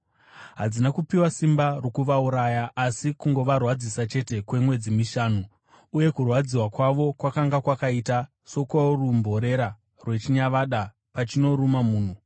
Hadzina kupiwa simba rokuvauraya, asi kungovarwadzisa chete kwemwedzi mishanu. Uye kurwadziwa kwavo kwakanga kwakaita sokworumborera rwechinyavada pachinoruma munhu.